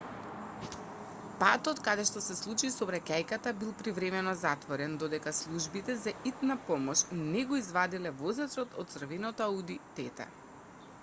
патот каде што се случи сообраќајката бил привремено затворен додека службите за итна помош не го извадиле возачот од црвеното ауди тт